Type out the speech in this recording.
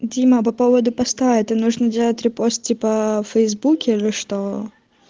дима по поводу поста это нужно делать репост типа в фейсбуке или что